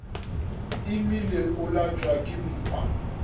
imile o lwatšwa ke mpa